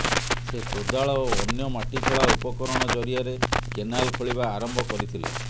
ସେ କୋଦାଳ ଓ ଅନ୍ୟ ମାଟି ଖୋଳା ଉପକରଣ ଜରିଆରେ କେନାଲ ଖୋଳିବା ଆରମ୍ଭ କରିଥିଲେ